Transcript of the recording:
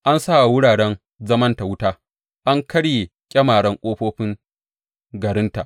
An sa wa wuraren zamanta wuta, an karya ƙyamaren ƙofofin garinta.